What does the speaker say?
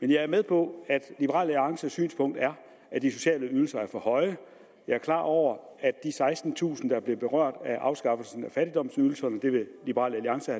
man jeg er med på at liberal alliances synspunkt er at de sociale ydelser er for høje jeg er klar over at det at sekstentusind er blevet berørt af afskaffelsen af fattigdomsydelserne vil liberal alliance